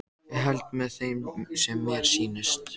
Ég held með þeim sem mér sýnist!